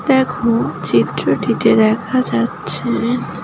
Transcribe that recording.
দেখ চিত্রটি তে দেখা যাচ্ছে --